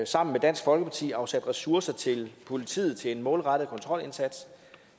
sammen med dansk folkeparti afsat ressourcer til politiet til en målrettet kontrolindsats